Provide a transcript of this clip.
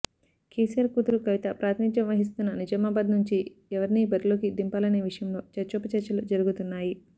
కేసీఆర్ కూతురు కవిత ప్రాతినిధ్యం వహిస్తున్న నిజామాబాద్ నుంచి ఎవరిని బరిలోకి దింపాలనే విషయంలో చర్చోపచర్చలు జరుగుతున్నాయి